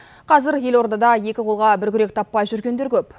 қазір елордада екі қолға бір күрек таппай жүргендер көп